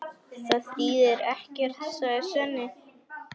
Það þýðir ekkert, sagði Svenni.